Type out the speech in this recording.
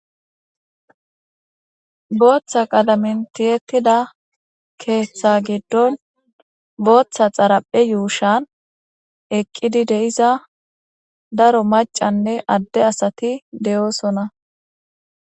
Booththa qalamen tiyettida booththa xataphe yuushan eqqiidi de'iza daro maccanne adde asati de'osona.